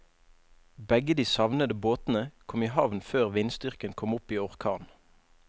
Begge de savnede båtene kom i havn før vindstyrken kom opp i orkan.